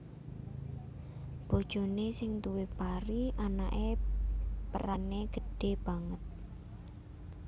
Bojoné sing duwé pari anaké perané gedhé banget